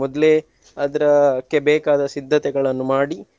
ಮೊದ್ಲೇ ಅದ್ರಕ್ಕೆ ಬೇಕಾದ ಸಿದ್ದತೆಗಳನ್ನು ಮಾಡಿ.